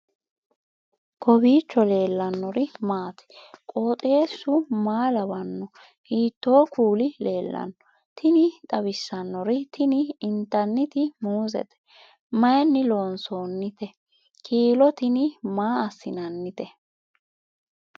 kowiicho leellannori maati ? qooxeessu maa lawaanno ? hiitoo kuuli leellanno ? tini xawissannori tini intanniti muuzete mayinni loonsoonnite kiilo tini maa assinannite